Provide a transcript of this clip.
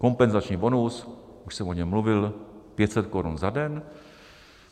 Kompenzační bonus, už jsem o něm mluvil, 500 korun za den.